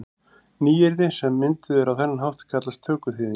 Nýyrði sem mynduð eru á þennan hátt kallast tökuþýðingar.